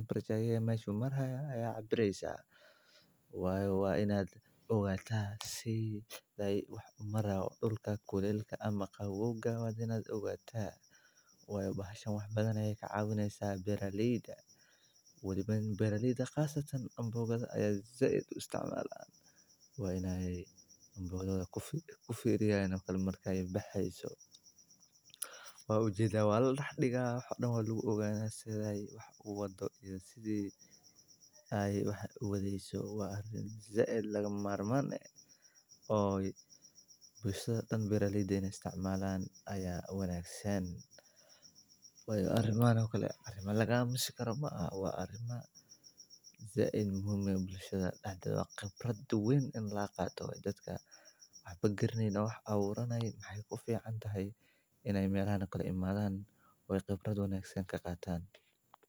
si loo ogaado xaaladaha habboon ee koritaanka dhirta, laguna saadaaliyo wakhtiyada ugu fiican ee beerista ama goosashada; qalabkan wuxuu ka samaysan yahay biro xasaasi ah oo dareema isbeddelka kuleylka, wuxuuna leeyahay saxan cabbiraya darajada heerkulka oo si sax ah u muujinaya heer kulka ciidda meel gaar ah, taasoo muhiim u ah beeraleyda, saynisyahannada deegaanka, iyo cilmi-baarayaasha cimilada.